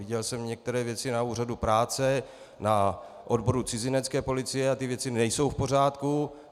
Viděl jsem některé věci na úřadu práce, na odboru cizinecké policie a ty věci nejsou v pořádku.